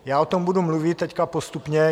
Já o tom budu mluvit teď postupně.